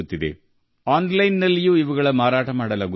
ಅವುಗಳನ್ನು ಆನ್ಲೈನ್ನಲ್ಲೂ ಮಾರಾಟ ಮಾಡಲಾಗುತ್ತಿದೆ